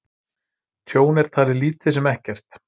Tjón er talið lítið sem ekkert